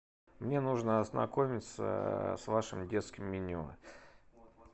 мне нужно ознакомиться с вашим детским меню